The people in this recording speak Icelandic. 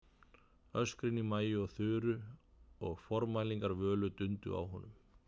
Öskrin í Maju og Þuru og formælingar Völu dundu á honum.